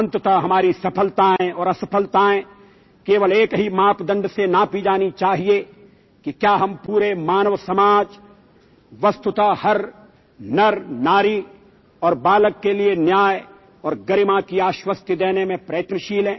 अंतत हमारी सफलताएं और असफलताएं केवल एक ही मापदंड से नापी जानी चाहिए कि क्या हम पूरे मानव समाज वस्तुत हर नरनारी और बालक के लिए न्याय और गरिमा की आश्वस्ति देने में प्रयत्नशील हैं